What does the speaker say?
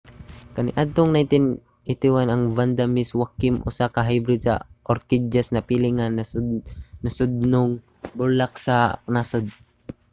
kaniadtong 1981 ang vanda miss joaquim usa ka hybrid sa orkidyas napili nga nasudnong bulak sa nasod